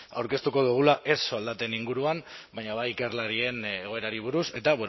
aurkeztuko dugula ez soldaten inguruan baina bai ikerlarien egoerari buruz eta